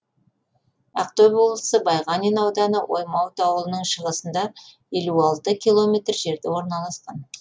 ақтөбе облысы байғанин ауданы оймауыт ауылының шығысында елу алты километр жерде орналасқан